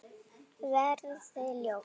Verði ljós.